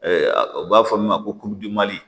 u b'a fɔ min ma ko